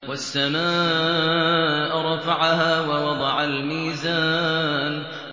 وَالسَّمَاءَ رَفَعَهَا وَوَضَعَ الْمِيزَانَ